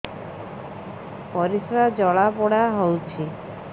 ପରିସ୍ରା ଜଳାପୋଡା ହଉଛି